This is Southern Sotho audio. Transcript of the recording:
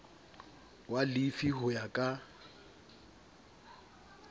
wa lefi ho ya ka